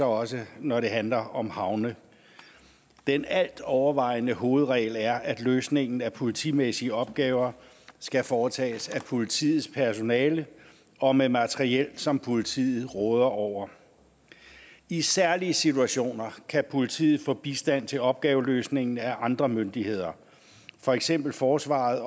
også når det handler om havne den altovervejende hovedregel er at løsningen af politimæssige opgaver skal foretages af politiets personale og med materiel som politiet råder over i særlige situationer kan politiet få bistand til opgaveløsningen af andre myndigheder for eksempel forsvaret